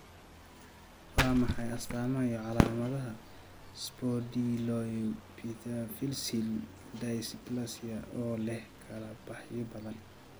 Waa maxay astamaha iyo calaamadaha Spondyloepimetaphyseal dysplasia oo leh kala-baxyo badan?